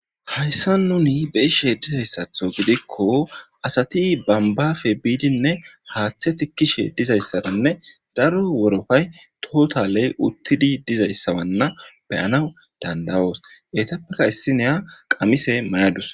hayssa nuni beishe dizayssatho gidikko asati bambafe biidinne haaththe tikkishe dizayssarinne daro worofay tootaley uttidi dizayssawanna beyanaw dandawoos etappeka issineya qamise mayadus